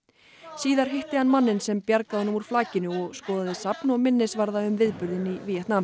síðar hitti hann manninn sem bjargaði honum úr flakinu og skoðaði safn og minnisvarða um viðburðinn í Víetnam